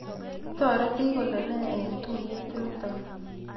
Itareti kole nee eng tuiyet nito?